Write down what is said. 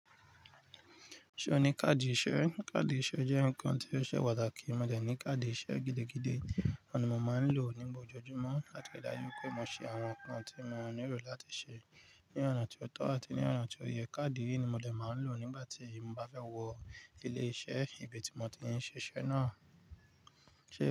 Ṣé o ní káàdì ìṣe? Káàdì ìṣe jẹ́ nǹkan tí ó ṣe pàtàkì. Mo dẹ̀ ní káàdì ìṣe gidigidi, ohun ni mo máa ń lò nígbà ojojúmọ́ láti ri daju pé mo ṣe àwọn nǹkan tí mo nílò láti ṣe ní ọ̀nà tó tọ́ àti ní ọ̀nà tí ó yẹ. Káàdì yìí ni mo dẹ̀ máa ń lò nígbà tí mo bá fẹ́ wọ ilé-iṣẹ́ ibi tí mo ti ń ṣe iṣẹ́ náà.